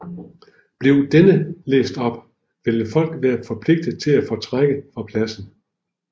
Blev denne læst op ville folk være forpligtet til at fortrække fra pladsen